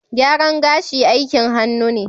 Gyaran gashi aikin hannu ne